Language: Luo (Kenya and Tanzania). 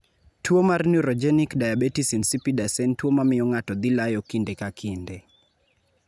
Tuo mar Neurogenic diabetes insipidus en tuo mamiyo ng'ato dhi layo kinde ka kinde.